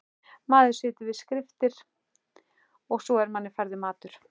Maður situr við skriftir og svo er manni færður matur.